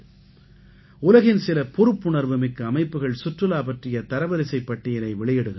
உலகின் சில பொறுப்புணர்வுமிக்க அமைப்புகள் சுற்றுலா பற்றிய தரவரிசைப் பட்டியலை வெளியிடுகின்றன